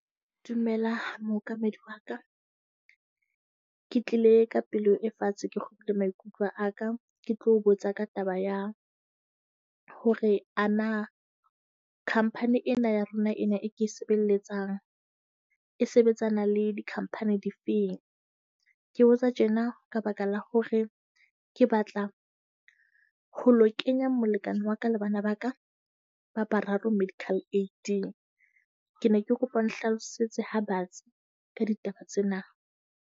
Dumela mookamedi wa ka. Ke tlile ka pelo e fatshe, ke kgutle maikutlo a ka. Ke tlo botsa ka taba ya hore ana company ena ya lona ena e ke sebelletsang e sebetsana le di-company di feng? Ke botsa tjena ka baka la hore ke batla ho lo kenya molekane wa ka le bana ba ka ba bararo medical aid-eng. Ke ne ke kopa o nhlalosetse ha batsi ka ditaba tsena.